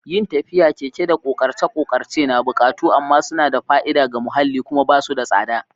Yin tafiya, keke, da ƙoƙarce-ƙoƙarce na buƙatu amma suna da fa'ida ga muhalli kuma ba su da tsada.